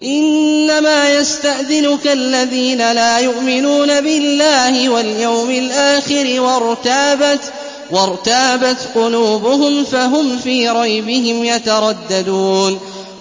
إِنَّمَا يَسْتَأْذِنُكَ الَّذِينَ لَا يُؤْمِنُونَ بِاللَّهِ وَالْيَوْمِ الْآخِرِ وَارْتَابَتْ قُلُوبُهُمْ فَهُمْ فِي رَيْبِهِمْ يَتَرَدَّدُونَ